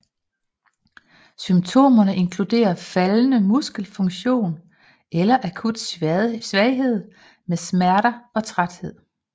Symptomerne inkluderer faldende muskelfunktion eller akut svaghed med smerter og træthed